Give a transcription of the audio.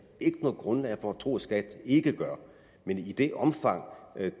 ikke noget grundlag for at tro at skat ikke gør men i det omfang